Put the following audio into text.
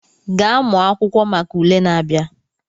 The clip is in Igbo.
Gaa mụọ akwụkwọ maka ule na-abịa!